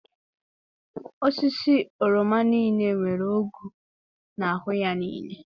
Osisi oroma niile nwere ogwu n'ahụ ya niile.